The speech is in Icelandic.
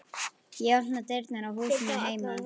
Ég opna dyrnar á húsinu heima.